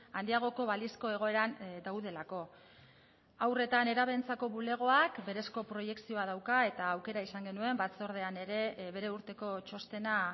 handiagoko balizko egoeran daudelako haur eta nerabeentzako bulegoak berezko proiekzioa dauka eta aukera izan genuen batzordean ere bere urteko txostena